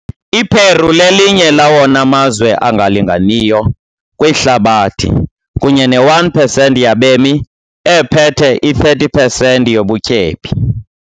I-Peru lelinye lawona mazwe angalinganiyo kwihlabathi, kunye ne-1 percent yabemi ephethe i-30 percent yobutyebi.